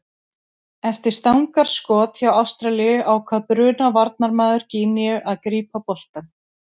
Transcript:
Eftir stangarskot hjá Ástralíu ákvað Bruna varnarmaður Gíneu að grípa boltann.